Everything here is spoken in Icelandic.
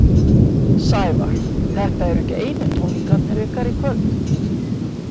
Sævar, þetta eru ekki einu tónleikarnir ykkar í kvöld?